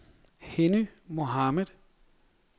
Henny Mohamed